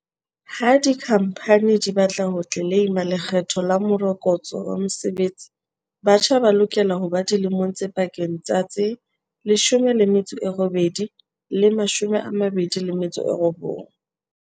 Ha dikhamphani di ba tla ho tleleima Lekgetho la Morokotso wa Mosebetsi, batjha ba lokela ho ba dilemong tse pakeng tsa tse 18 le 29.